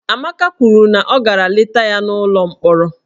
Amaka kwuru na ọ gara leta ya n'ụlọ mkpọrọ